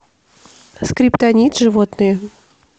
скриптонит животные